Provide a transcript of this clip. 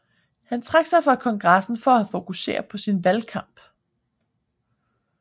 Han trak sig fra kongressen for at fokusere på sin valgkamp